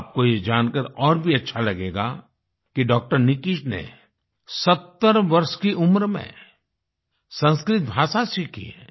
आपको ये जानकार और भी अच्छा लगेगा कि डॉ० निकिच ने 70 वर्ष की उम्र में संस्कृत भाषा सीखी है